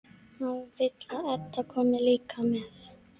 Hann vill að Edda komi líka með.